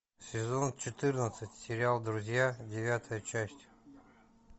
сезон четырнадцать сериал друзья девятая часть